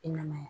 I namaya